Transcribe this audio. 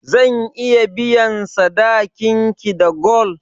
Zan iya biyan sadakin ki da gwal?